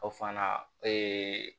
Aw fana